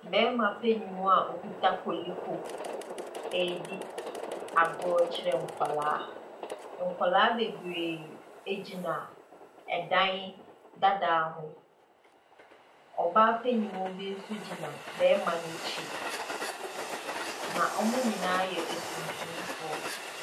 Bɛɛma panyin mu a okuta koliko edi agorɔ kyerɛ nkwalaa. Nkwalaa bebree egyina ɛdan dadaa ho. Ɔbaa panyin mu bi nso gyina bɛɛma n'akyi, na wɔmo nyinaa yɛ atuntum foɔ.